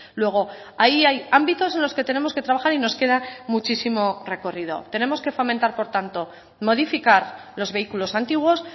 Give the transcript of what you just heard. luego ahí hay ámbitos en los que tenemos que trabajar y nos queda muchísimo recorrido tenemos que fomentar por tanto modificar los vehículos antiguos